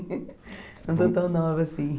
Não estou tão nova assim.